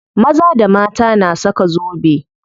Maza da mata na saka zobe.